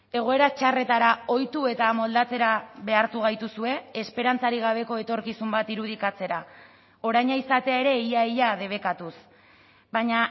egoera txarretara ohitu eta moldatzera behartu gaituzue esperantzarik gabeko etorkizun bat irudikatzera oraina izatea ere ia ia debekatuz baina